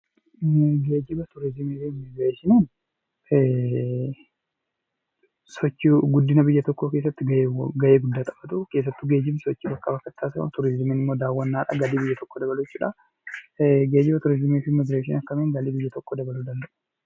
Geejiba turizimii fi immigireeshiniin sochii guddina biyya tokkoo keessatti gahee guddaa taphatu keessattuu geejibni sochii bakkaa bakkatti taasifamu, turizimii immoo daawwannaa galii biyya tokkoo dabalu jechuudha. Geejiba turizimii fi immigireeshiniin akkamiin galii biyya tokkoo dabaluu danda'u?